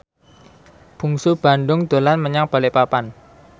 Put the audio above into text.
Bungsu Bandung dolan menyang Balikpapan